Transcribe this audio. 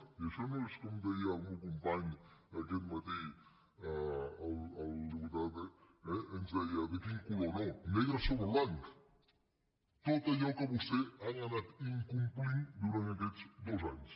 i això no és com deia el meu company aquest matí el diputat eh ens deia de quin color no negre sobre blanc tot allò que vostès han anat incomplint durant aquests dos anys